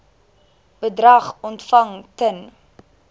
bedrag ontvang ten